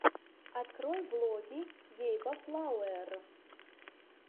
открой влоги гейба флауэр